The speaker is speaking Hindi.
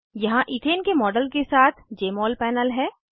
यहाँ इथेन के मॉडल के साथ जमोल पैनल है